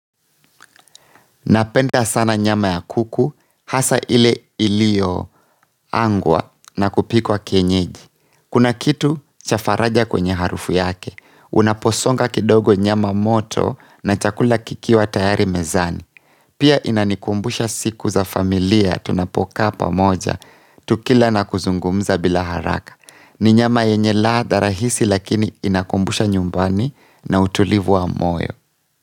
Napenda sana nyama ya kuku hasa ile iliyoangwa na kupikwa kienyeji kuna kitu cha faraja kwenye harufu yake. Unaposonga kidogo nyama moto na chakula kikiwa tayari mezani pia inanikumbusha siku za familia tunapokaa pamoja tukila na kuzungumza bila haraka ni nyama yenye ladha rahisi lakini inakumbusha nyumbani na utulivu wa moyo.